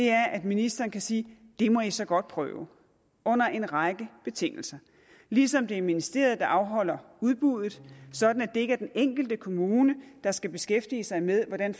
er at ministeren kan sige det må i så godt prøve under en række betingelser ligesom det er ministeriet der afholder udbuddet sådan at det ikke er den enkelte kommune der skal beskæftige sig med hvordan